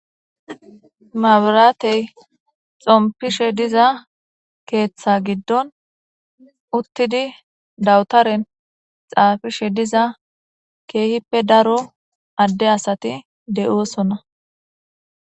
Mabirateyi xompishe dizza ketha giddoni uttidi dawutareni xafishe dizza kehippe darro ade assati deyosonna.